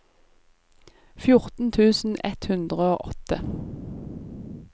fjorten tusen ett hundre og åtte